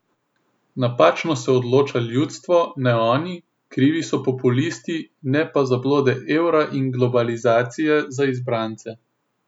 Napačno se odloča ljudstvo, ne oni, krivi so populisti, ne pa zablode evra in globalizacije za izbrance.